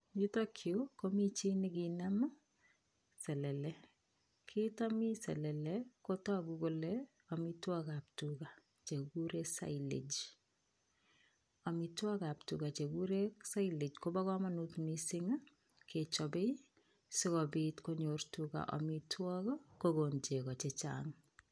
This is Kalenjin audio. Chuton chuk Komi chito nikanam selele kiiton mi selele Kotaku Kole amitwagik ab tuga Che kikuren silage ,amitwagik ab tuga Che kikuren silage Koba kamanut mising kechobei sikobit konyor tugak amitagik akokon cheko chechang